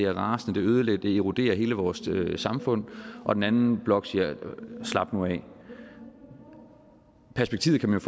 rasende ødelæggende eroderer hele vores samfund og den anden blok siger at slap nu af perspektivet kan man